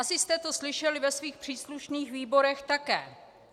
Asi jste to slyšeli ve svých příslušných výborech také.